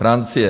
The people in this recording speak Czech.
Francie.